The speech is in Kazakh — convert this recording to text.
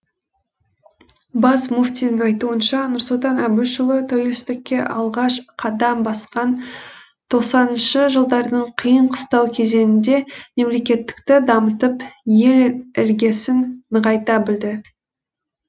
бас мүфтидің айтуынша нұрсұлтан әбішұлы тәуелсіздікке алғаш қадам басқан тоқсаныншы жылдардың қиын қыстау кезеңінде мемлекеттілікті дамытып ел іргесін нығайта білді